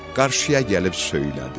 Qarşıya gəlib söylədi: